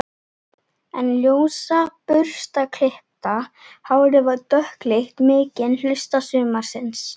En ljósa burstaklippta hárið var dökkleitt mikinn hluta sumarsins.